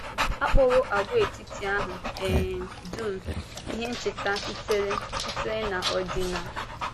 A kpọwò àgwàetiti ahụ um dum ihe ncheta sitere sitere n’ọ́dị̀nà.